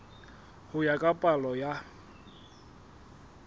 ho ya ka palo ya